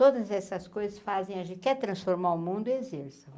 Todas essas coisas fazem a gente quer transformar o mundo e exerça.